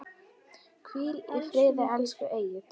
Hvíl í friði, elsku Egill.